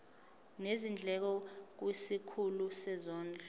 nezindleko kwisikhulu sezondlo